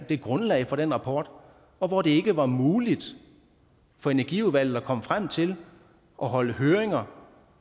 det grundlag for den rapport og hvor det ikke var muligt for energiudvalget at komme frem til at holde høringer